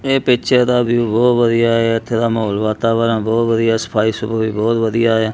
ਇਹ ਪਿਚਰ ਦਾ ਵਿਊ ਬਹੁਤ ਵਧੀਆ ਹੈ ਇਥੇ ਦਾ ਮਾਹੌਲ ਵਾਤਾਵਰਨ ਬਹੁਤ ਵਧੀਆ ਸਫਾਈ ਸਫੁਈ ਵੀ ਬਹੁਤ ਵਧੀਆ ਆ।